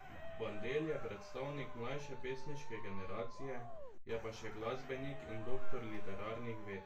Bandelj je predstavnik mlajše pesniške generacije, je pa še glasbenik in doktor literarnih ved.